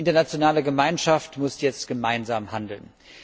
Die internationale Gemeinschaft muss jetzt gemeinsam handeln.